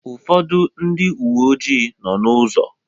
Ụfọdụ ndị uwe ojii nọọ n'ụzọ.